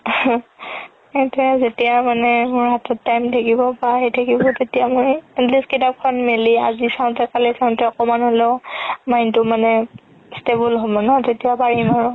সেইটোয়ে যেতিয়া মানে মোৰ হাতত time থাকিব থাকিব তেতিয়া মই at least কিতাপখন মেলি আজি চাওতে কালি চাওতে অকমান হ'লেও mind টো মানে stable হ'ব ন তেতিয়া পাৰিম আৰু